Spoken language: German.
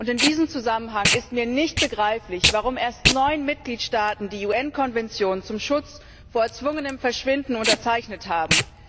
In diesem Zusammenhang ist mir nicht begreiflich, warum erst neun Mitgliedstaaten die UN Konvention zum Schutz vor erzwungenem Verschwinden unterzeichnet haben.